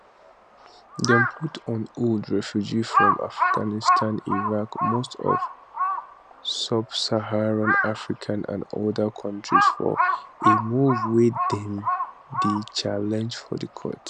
dem put on hold refugees from afghanistan iraq most of subsaharan africa and oda kontris for a move wey dem dey challenge for court